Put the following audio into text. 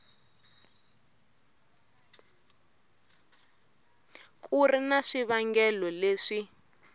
ku ri na swivangelo leswi